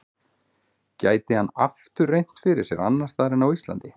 Gæti hann aftur reynt fyrir sér annars staðar en á Íslandi?